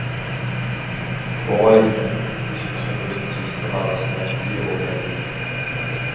оңай дүние ешқашан өзінің тиісті бағасына ие болмайды